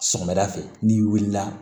Sɔgɔmada fɛ n'i wulila